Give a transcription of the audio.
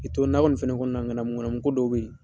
K'i to nakɔ in fɛnɛ kɔnɔna na ŋanamuŋanamu ko dɔw fɛnɛ be yen